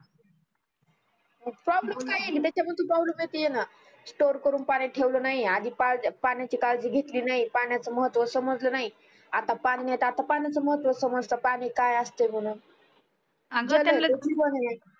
problem काय आहे त्याचमधी problem येतीये ना store करून पानी ठेवल नाही आधी त्या पाण्याची काजळी घेतली नाही पण्याच महत्व समजल नाही आता पानी नाही त आता पण्याच महत्व समजत पानी काय असते म्हणून